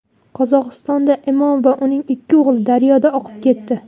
Qozog‘istonda imom va uning ikki o‘g‘li daryoda oqib ketdi.